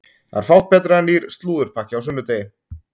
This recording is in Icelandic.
Það er fátt betra en nýr slúðurpakki á sunnudegi!